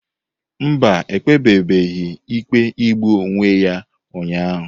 Mba, ekpebebeghi ikpe igbu onwe ya ụnyahụ.